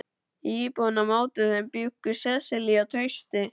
Í íbúðinni á móti þeim bjuggu Sesselía og Trausti.